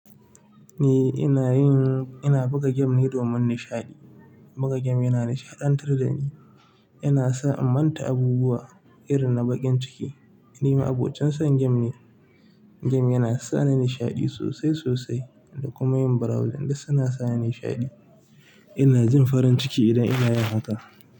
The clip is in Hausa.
Ni ina yin, ina buga game ne domin nishaɗi. Buga game yana nishaɗantar da ni, yana sa in manta abubuwa irin na baƙin ciki. Ni ma abocin son game ne. Game yana sa ni nishaɗi sosai sosai da kuma yin browsing da suna sa ni nishaɗi. Ina jin farin ciki idan ina yin haka.